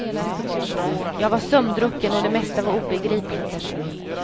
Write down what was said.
Jag var sömndrucken och det mesta var obegripligt.